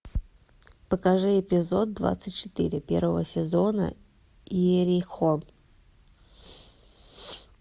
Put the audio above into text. покажи эпизод двадцать четыре первого сезона иерихон